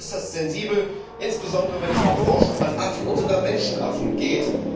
Aber es ist äußerst sensibel, insbesondere, wenn es um Forschung an Affen und sogar Menschenaffen geht.